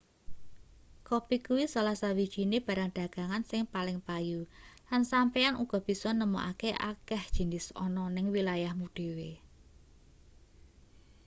kopi kuwi salah sawijine barang dagangan sing paling payu lan sampeyan uga bisa nemokake akeh jinis ana ning wilayahmu dhewe